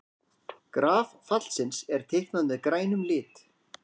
Graf fallsins er teiknað með grænum lit.